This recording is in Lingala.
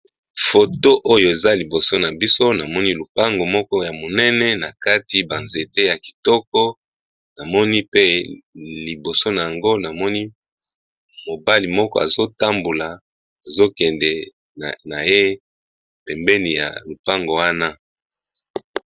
Elenge mobali atelemi liboso ya lopango ya monene eza na portail ya langi ya mbwe. Lopango yango eza na langi ya mosaka ya pete.